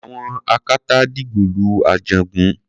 àwọn akátá dìgbòlu Ajagun